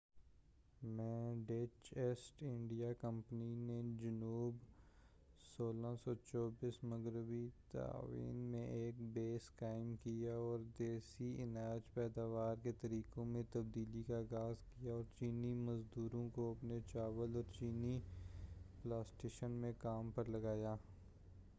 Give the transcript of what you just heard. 1624 میں Dutch East India Company نے جنوب مغربی تائیوان میں ایک بیس قائم کیا اور دیسی اناج پیداوار کے طریقوں میں تبدیلی کا آغاز کیا اور چینی مزدوروں کو اپنے چاول اورچینی پلانٹیشن میں کام پرلگایا